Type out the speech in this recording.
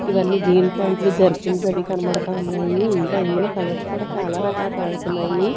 ఇవన్నీ జీన్స్ ప్యాంట్లు జర్కిన్స్ అవి కనబడతా ఉన్నాయి ఇంకా ఇందులో కలర్స్ కూడా చాలా రకాల కలర్స్ ఉన్నాయి.